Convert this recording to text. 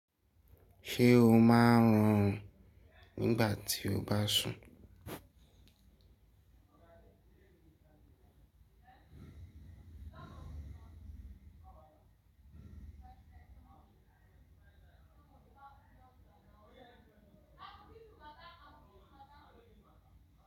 Ṣé o máa ń rùn nígbà tí o bá sùn?